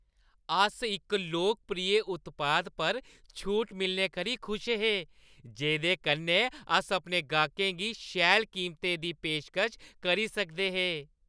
अस इक लोकप्रिय उत्पाद पर छूट मिलने करी खुश हे, जेह्दे कन्नै अस अपने गाह्कें गी शैल कीमतें दी पेशकश करी सकदे हे।